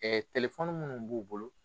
minnu b'u bolo.